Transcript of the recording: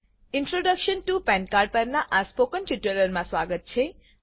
introduction to PAN cardપરનાં આ spoken ટ્યુટોરીયલમાં સ્વાગત છે